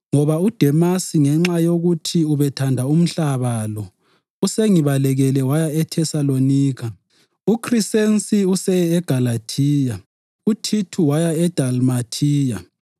ngoba uDemasi ngenxa yokuthi ubethanda umhlaba lo, usengibalekele waya eThesalonika. UKhrisensi useye eGalathiya, uThithu waya eDalmathiya.